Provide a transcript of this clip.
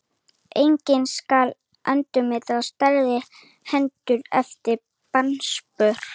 Einnig skal endurmeta stærð hennar eftir barnsburð.